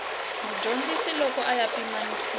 mudyondzi loko ya pimanisiwa na